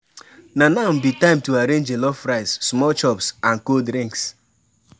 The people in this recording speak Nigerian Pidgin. Na now be time to arrange jollof rice, small chops, and cold drinks.